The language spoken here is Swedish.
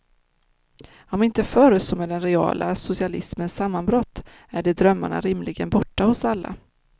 Om inte förr så med den reala socialismens sammanbrott är de drömmarna rimligen borta hos alla.